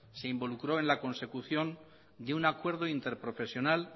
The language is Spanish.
se involucró en la consecución de un acuerdo interprofesional